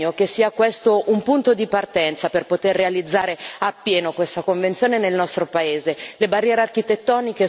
Che questo sia un impegno, che questo sia un punto di partenza per poter realizzare appieno questa convenzione nel nostro Paese.